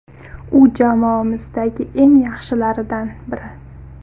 U jamoamizdagi eng yaxshilardan biri.